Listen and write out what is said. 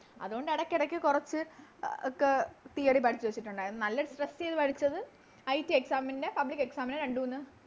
അതുകൊണ്ട് എടക്കെടക്ക് കൊറച്ച് ആ ക് Theory പഠിച്ച് വെച്ചിട്ടുണ്ടാരുന്നു നല്ല Stress ചെയ്ത പഠിച്ചത് ITExam ൻറെ Public exam ൻറെ രണ്ട് മൂന്ന്